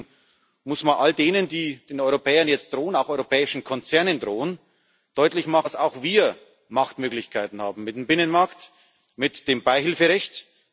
Und deswegen muss man all denen, die den Europäern jetzt drohen, auch europäischen Konzernen drohen, deutlich machen, dass auch wir Machtmöglichkeiten haben mit dem Binnenmarkt, mit dem Beihilferecht.